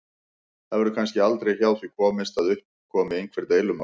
Það verður kannski aldrei hjá því komist að upp komi einhver deilumál.